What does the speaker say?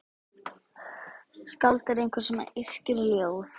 Skáld er einhver sem yrkir ljóð.